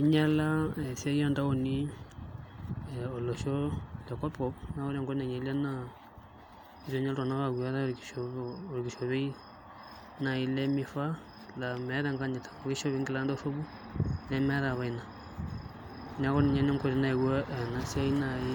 Inyiala ena siai oontaoni olosho lekopkop naa ore enkop nainyiala naa eetuo inye iltung'anak aaku keeta orkishopo, orkishopoi naai lemifaa laa meeta enkanyit amu kishopi nkilani dorropu nemeetae apa ina neeku ninye naa enkoitoi nayaua ena siai naai